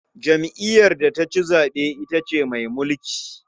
Jam'iyyar da ta ci zaɓe ita ce mai mulki.